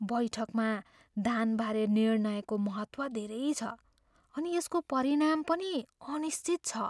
बैठकमा दानबारे निर्णयको महत्त्व धेरै छ अनि यसको परिणाम पनि अनिश्चित छ।